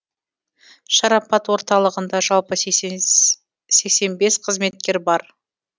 шарапат орталығында жалпы сексен бес қызметкер бар